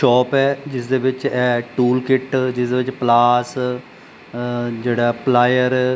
shop ਹੈ ਜਿਸਦੇ ਵਿੱਚ ਇਹ ਟੂਲ ਕਿੱਟ ਜਿਸਦੇ ਵਿੱਚ ਪਲਾਸ ਜਿਹੜਾ ਪਲਾਇਰ --